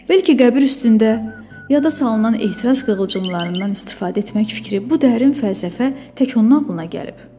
Bəlkə qəbir üstündə yada salınan ehtiras qığılcımlarından istifadə etmək fikri, bu dərin fəlsəfə tək ondan ağlına gəlib?